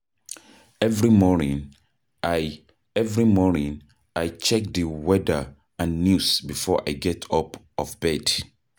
Every morning, I Every morning, I check di weather and news before I get out of bed.